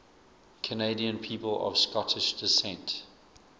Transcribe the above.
canadian people of scottish descent